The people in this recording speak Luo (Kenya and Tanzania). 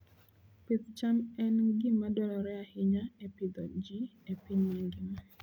Pith cham en gima dwarore ahinya e pidho ji e piny mangima.